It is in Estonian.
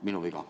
Minu viga.